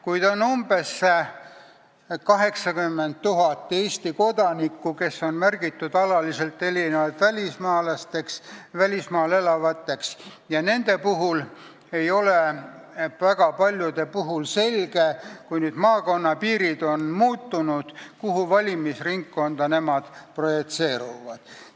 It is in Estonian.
Kuid on umbes 80 000 Eesti kodanikku, kes on märgitud alaliselt välismaal elavateks, ja väga paljude puhul ei ole selge, et kui nüüd maakonnapiirid on muutunud, kuhu valimisringkonda siis nemad projitseeruvad.